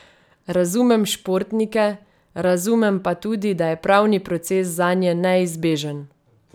Razumem športnike, razumem pa tudi, da je pravni proces zanje neizbežen.